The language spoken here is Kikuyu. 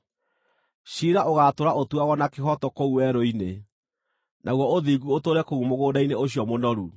Ciira ũgaatũũra ũtuagwo na kĩhooto kũu werũ-inĩ, naguo ũthingu ũtũũre kũu mũgũnda-inĩ ũcio mũnoru.